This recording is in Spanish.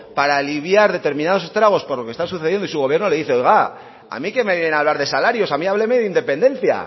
para aliviar determinados estragos por los que está sucediendo y su gobierno le dice oiga a mí qué me viene a hablar de salarios a mí hábleme de independencia